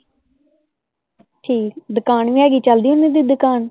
ਠੀਕ ਹੈ, ਦੁਕਾਨ ਵੀ ਹੈਗੀ, ਚਲਦੀ ਓਹਨਾ ਦੀ ਦੁਕਾਨ?